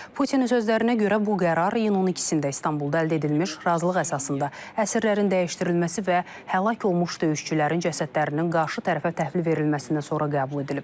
Putinin sözlərinə görə bu qərar iyunun 12-də İstanbulda əldə edilmiş razılıq əsasında əsirlərin dəyişdirilməsi və həlak olmuş döyüşçülərin cəsədlərinin qarşı tərəfə təhvil verilməsindən sonra qəbul edilib.